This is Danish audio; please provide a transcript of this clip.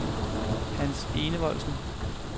Hans Enevoldsen